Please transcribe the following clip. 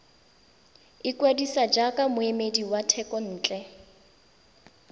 ikwadisa jaaka moemedi wa thekontle